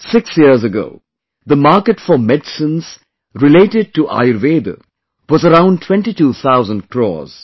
6 years ago, the market for medicines related to Ayurveda was around 22 thousand crores